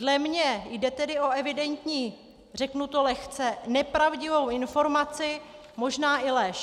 Dle mě jde tedy o evidentní - řeknu to lehce - nepravdivou informaci, možná i lež.